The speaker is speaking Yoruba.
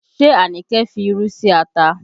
Ṣé Anike fi irú sí ata?